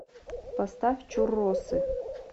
поставь чурросы